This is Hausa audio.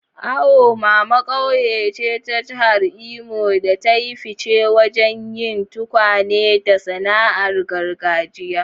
Awomama ƙauye ce ta Jihar Imo da ta yi fice wajen yin tukwane da sana'ar gargajiya.